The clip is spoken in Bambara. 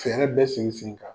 Fɛɛrɛ bɛ sen n sen kan.